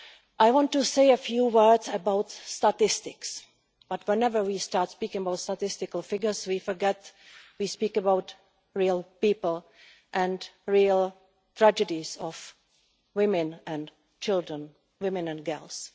I want to say a few words about statistics, but whenever we start speaking about figures, we forget that we are speaking about real people and real tragedies of women and children, women and girls.